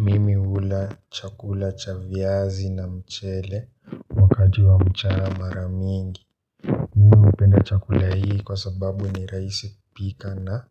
Mimi hula chakula cha viazi na mchele wakati wa mchana mara nyingi mimi hupenda chakula hiki ni rahisi kupika na